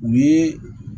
U ye